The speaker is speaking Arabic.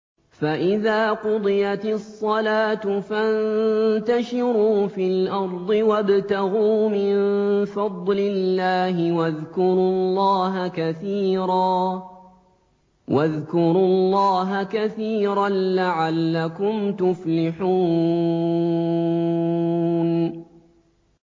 فَإِذَا قُضِيَتِ الصَّلَاةُ فَانتَشِرُوا فِي الْأَرْضِ وَابْتَغُوا مِن فَضْلِ اللَّهِ وَاذْكُرُوا اللَّهَ كَثِيرًا لَّعَلَّكُمْ تُفْلِحُونَ